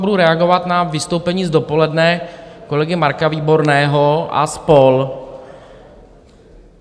Budu reagovat na vystoupení z dopoledne kolegy Marka Výborného a spol.